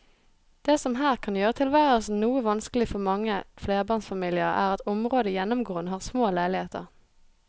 Det som her kan gjøre tilværelsen noe vanskelig for mange flerbarnsfamilier er at området gjennomgående har små leiligheter.